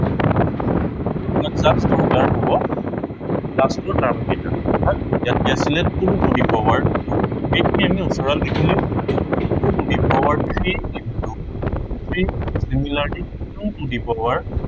just দৰকাৰ হব last ৰ কেইটা। ইয়াত কি আছিলে, two to the power two এইখিনি আমি আঁতৰাই লিখিলেও two two the power three into, three similarly two two the power